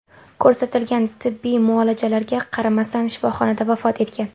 ko‘rsatilgan tibbiy muolajalarga qaramasdan shifoxonada vafot etgan.